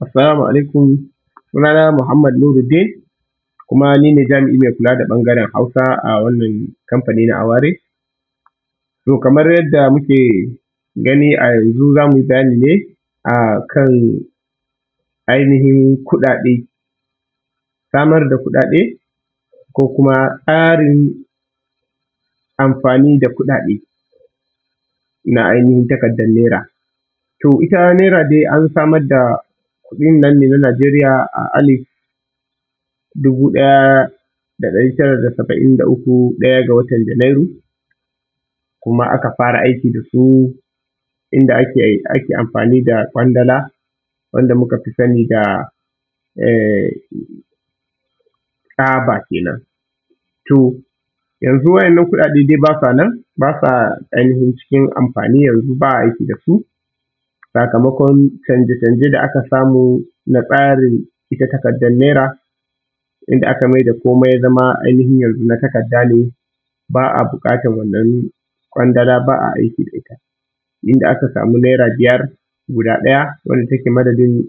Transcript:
Assalamu alaikum. Sunana Muhammad Nuruddin, kuma ni ne jami’i mai kula da ɓangaren Hausa a wannan kamfani na Aware. To kamar yadda muke gani a yanzu, za mu yi bayani ne a kan ainihin kuɗaɗe, samar da kuɗaɗe, ko kuma tsarin amfani da kuɗaɗe na ainihin takardar Naira. To ita Naira dai an samar da kuɗin nan ne na Nigeria a alif dubu ɗaya da ɗari tara da saba’in da uku, ɗaya ga watan Janairu kuma aka fara aiki da su, inda ake amfani da ƙwandala, wanda muka fi sani da... tsaba kenan. To, yanzu waɗannan kuɗaɗe dai ba sa nan, ba sa ainihin cikin amfani yanzu, ba a aiki da su, sakamakon canje canje da aka samu na tsarin ita takardar Naira, inda aka mai da komai ya zama ainihin yanzu na takarda ne, ba a buƙatar wannan ƙwandala, ba a aiki da ita, inda aka samu Naira biyar guda ɗaya, wadda take madadin